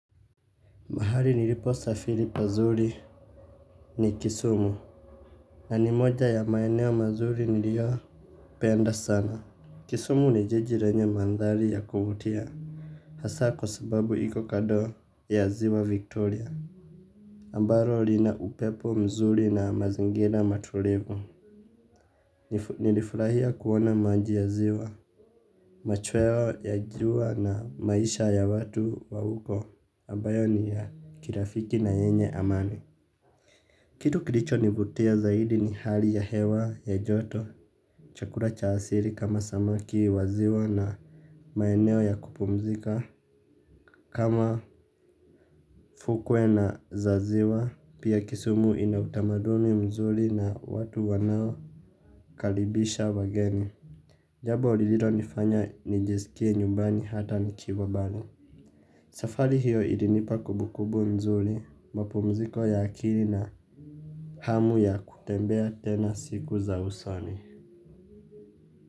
Mahali nilipo safiri pazuri ni kisumu. Na ni moja ya maeneo mazuri niliopenda sana. Kisumu ni jiji lenye mandhari ya kuvutia. Hasaa kwa sababu iko kando ya ziwa Victoria. Ambalo lina upepo mzuri na mazingira matulivu. Nilifurahia kuona maji ya ziwa. Machweo ya jua na maisha ya watu wa huko. Ambayo ni ya kirafiki na yenye amani. Kitu kilicho nivutia zaidi ni hali ya hewa ya joto chakula cha asili kama samaki waziwa na maeneo ya kupumzika kama fukwe na za ziwa pia kisumu inautamaduni mzuri na watu wanao karibisha wageni. Jambo lililonifanya nijisikie nyumbani hata nikiwa mbali. Safari hiyo ilinipa kumbukumbu mzuri mapumziko ya akili na hamu ya kutembea tena siku za usoni.